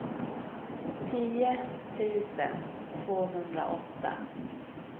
tio tusen tvåhundraåtta